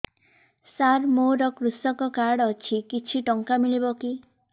ସାର ମୋର୍ କୃଷକ କାର୍ଡ ଅଛି କିଛି ଟଙ୍କା ମିଳିବ କି